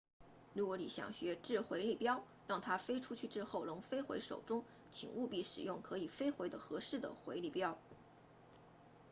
如果你想学掷回力镖让它飞出去之后能飞回手中请务必使用可以飞回的合适的回力镖